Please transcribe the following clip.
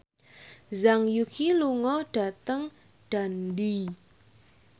Zhang Yuqi lunga dhateng Dundee